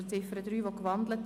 Die Ziffer 3 ist gewandelt.